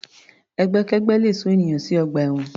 Ẹgbẹ́kẹ́gbẹ́ le sún ènìyàn sí ọgbà ẹ̀wọ̀n.